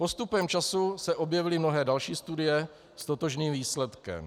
Postupem času se objevily mnohé další studie s totožným výsledkem.